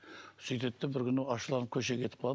сөйтеді де бір күні ашуланып көшеге кетіп қалады